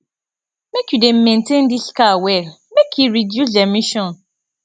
make you dey maintain dis car well make e reduce emission